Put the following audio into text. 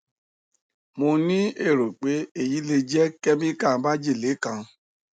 mo ni ero pe eyi le je chemical majele kan